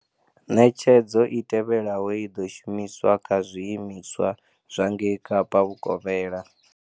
Ṋetshedzo i tevhelaho i ḓo shumiswa kha zwiimi-swa zwa ngei Kapa Vhukovhela.